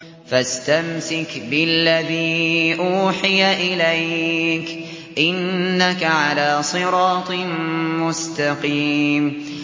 فَاسْتَمْسِكْ بِالَّذِي أُوحِيَ إِلَيْكَ ۖ إِنَّكَ عَلَىٰ صِرَاطٍ مُّسْتَقِيمٍ